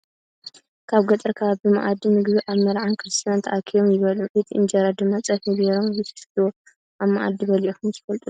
ኣብ ገጠር ከባቢ ብማኣዲ ምግቢ ኣብ መርዓን ክርስትናን ተኣኪቦ ም ይበልዑ ። እቲ እንጀራ ድማ ፀብሒ ገይሮም ይፍትፍትዎ ። ኣብ መኣዲ በለዒኩም ትፍልጡ ዶ ?